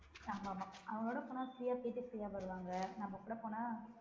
ஆமா ஆமா அவரோட போனா free யா போயிட்டு free அ வருவாங்க நம்ம கூட போனா